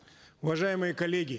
уважаемые коллеги